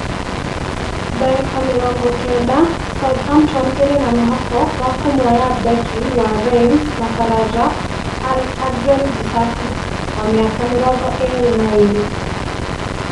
(dagĩka mĩrongo kenda) Southampton ĩrĩ na mwĩhoko wa kũmuoya Beki wa Reims na baraja Axel Disasi, wa mĩaka mĩrongo ĩĩrĩ na ĩĩrĩ